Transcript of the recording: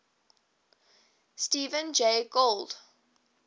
stephen jay gould